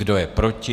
Kdo je proti?